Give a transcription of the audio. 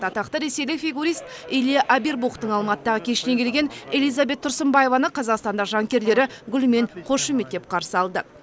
атақты ресейлік фигурист илья авербухтың алматыдағы кешіне келген элизабет тұрсынбаеваны қазақстандық жанкүйерлері гүлмен қошеметтеп қарсы алды